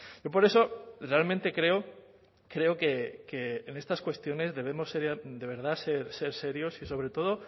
yo por eso realmente creo creo que en estas cuestiones debemos de verdad ser serios y sobre todo